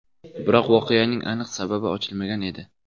Biroq voqeaning aniq sababi ochilmagan edi.